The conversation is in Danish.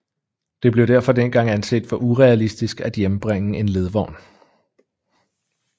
Det blev derfor dengang anset for urealistisk at hjembringe en ledvogn